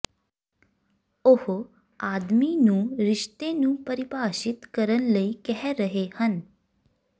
ਉਹ ਆਦਮੀ ਨੂੰ ਰਿਸ਼ਤੇ ਨੂੰ ਪਰਿਭਾਸ਼ਿਤ ਕਰਨ ਲਈ ਕਹਿ ਰਹੇ ਹਨ